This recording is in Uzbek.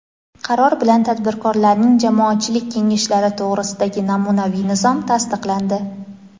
Qaror bilan Tadbirkorlarning jamoatchilik kengashlari to‘g‘risidagi namunaviy nizom tasdiqlandi.